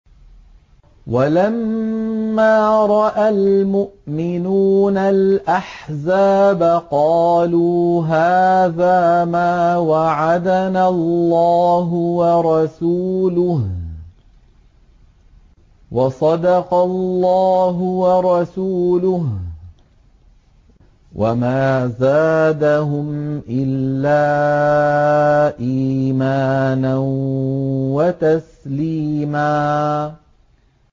وَلَمَّا رَأَى الْمُؤْمِنُونَ الْأَحْزَابَ قَالُوا هَٰذَا مَا وَعَدَنَا اللَّهُ وَرَسُولُهُ وَصَدَقَ اللَّهُ وَرَسُولُهُ ۚ وَمَا زَادَهُمْ إِلَّا إِيمَانًا وَتَسْلِيمًا